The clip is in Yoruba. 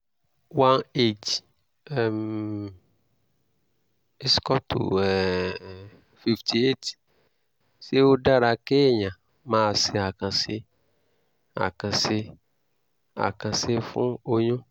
one h um = um fifty eight ṣé ó dára kéèyàn máa ṣe àkànṣe àkànṣe àkànṣe fún oyún?